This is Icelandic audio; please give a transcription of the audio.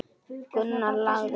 Gunnar lagði á.